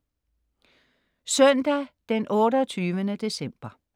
Søndag 28. december